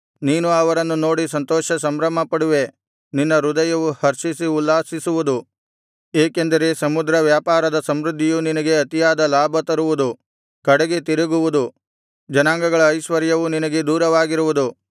ನೀನು ಅವರನ್ನು ನೋಡಿ ಸಂತೋಷ ಸಂಭ್ರಮ ಪಡುವೆ ನಿನ್ನ ಹೃದಯವು ಹರ್ಷಿಸಿ ಉಲ್ಲಾಸಿಸುವುದು ಏಕೆಂದರೆ ಸಮುದ್ರ ವ್ಯಾಪಾರದ ಸಮೃದ್ಧಿಯು ನಿನಗೆ ಅತಿಯಾದ ಲಾಭತರುವುದು ಕಡೆಗೆ ತಿರುಗುವುದು ಜನಾಂಗಗಳ ಐಶ್ವರ್ಯವು ನಿನಗೆ ದೊರೆಯುವುದು